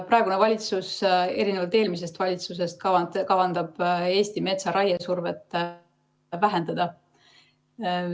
Praegune valitsus erinevalt eelmisest valitsusest kavandab raiesurvet Eesti metsale vähendada.